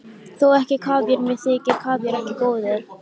Þó ekki kavíar, mér þykir kavíar ekki góður.